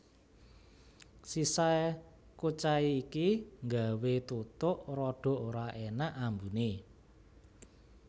Sisa kucai iki nggawé tutuk rada ora énak ambuné